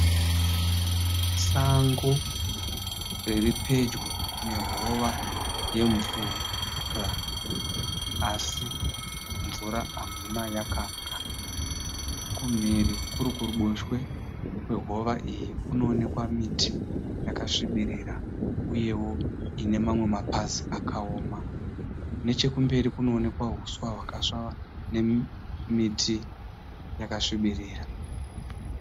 Sango riripedyo nehova yemvura asi mvura hamuna yakapwa kumhiri kurikuriboshwe kwehova iyi kunoonekwa miti yakasvibirira uyevo inemamwe mapazi akaoma, nechekumberi kunoonekwa huswa hwakasvava uye nemiti yakasvibirira.